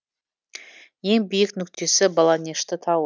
ең биік нүктесі баланешты тауы